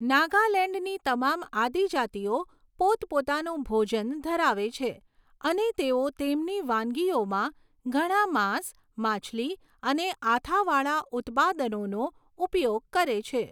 નાગાલેન્ડની તમામ આદિજાતિઓ પોતપોતાનું ભોજન ધરાવે છે, અને તેઓ તેમની વાનગીઓમાં ઘણાં માંસ, માછલી અને આથાવાળા ઉત્પાદનોનો ઉપયોગ કરે છે.